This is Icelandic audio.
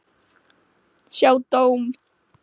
Sjá dóm